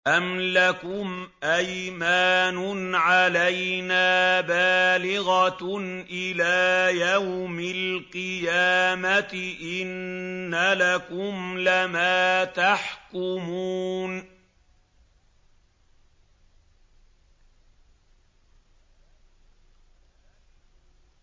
أَمْ لَكُمْ أَيْمَانٌ عَلَيْنَا بَالِغَةٌ إِلَىٰ يَوْمِ الْقِيَامَةِ ۙ إِنَّ لَكُمْ لَمَا تَحْكُمُونَ